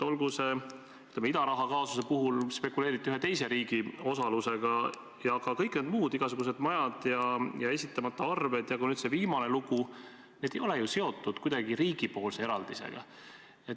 Olgu, ütleme, idaraha kaasuse puhul spekuleeriti ühe teise riigi osalusega, aga olid ka kõik need muud igasugused majad ja esitamata arved, samuti nüüd see viimane lugu, need ei ole ju kuidagi seotud riigi eraldisega.